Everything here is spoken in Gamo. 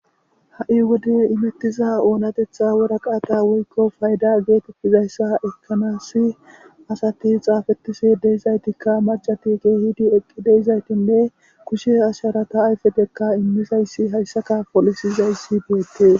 Ha'i wode imettiza oonatetha wora qaata woykko fayda geetettizayssa ekanasi asati xaafetisi deizaytikka macati gehiidi eqqi deizaytinne kushe asharata ayfedekka immizayssi hayssaka polisizayssi deettee.